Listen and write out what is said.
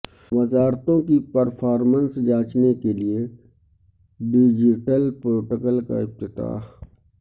وزارتوں کی پرفارمنس جانچنے کیلئے ڈیجیٹل پورٹل کا افتتاح